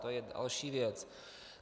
To je další věc.